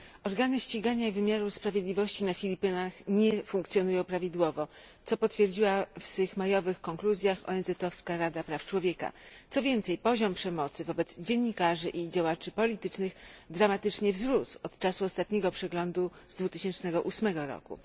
Organy ścigania i wymiaru sprawiedliwości na Filipinach nie funkcjonują prawidłowo, co potwierdziła w swych majowych konkluzjach Rada Praw Człowieka ONZ. Co więcej, poziom przemocy wobec dziennikarzy i działaczy politycznych, dramatycznie wzrósł od czasu ostatniego przeglądu z 2008 roku.